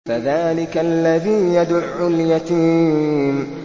فَذَٰلِكَ الَّذِي يَدُعُّ الْيَتِيمَ